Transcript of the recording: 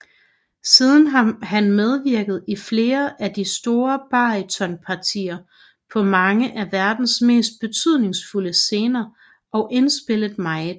Siden har han medvirket i flere af de store barytonpartier på mange af verdens mest betydningsfulde scener og indspillet meget